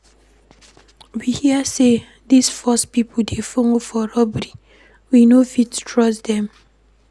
We hear sey dese force pipo dey folo for robbery, we no fit trust dem.